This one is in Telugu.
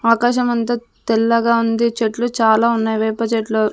ఆకాశమంత తెల్లగా ఉంది చెట్లు చాలా ఉన్నాయి వేప చెట్లు.